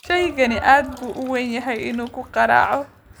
Shaygani aad buu u weyn yahay inuu ku garaaco